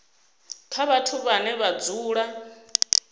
kha vhathu vhane vha dzula